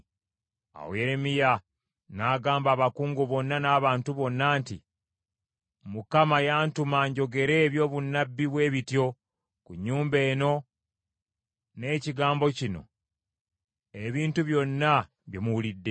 Awo Yeremiya n’agamba abakungu bonna n’abantu bonna nti, “ Mukama yantuma njogere ebyobunnabbi bwe bityo ku nnyumba eno n’ekibuga kino ebintu byonna bye muwulidde.